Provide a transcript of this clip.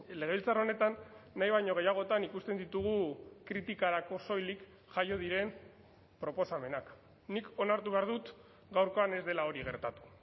legebiltzar honetan nahi baino gehiagotan ikusten ditugu kritikarako soilik jaio diren proposamenak nik onartu behar dut gaurkoan ez dela hori gertatu